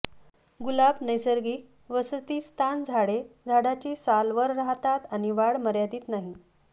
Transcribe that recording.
गुलाब नैसर्गिक वसतिस्थान झाडे झाडाची साल वर राहतात आणि वाढ मर्यादित नाही